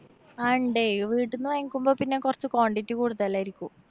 ആ ഇണ്ട് വീട്ടിന്ന് വാങ്ങിക്കുമ്പോ പിന്നെ കൊറച്ച് quantity കൂടുതലായിരിക്കും.